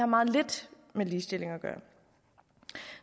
meget lidt med ligestilling at gøre